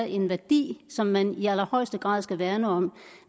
er en værdi som man i allerhøjeste grad skal værne om